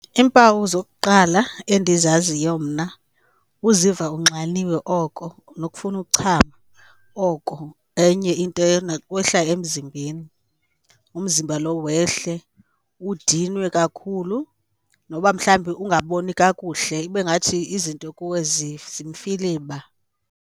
Iimpawu zokuqala endizaziyo mna kuziva unxaniwe oko nokufuna ukuchama oko. Enye into, nokwehla emzimbeni, umzimba lo wehle udinwe kakhulu noba mhlawumbi ungaboni kakuhle ibe ngathi izinto kuwe zimfiliba.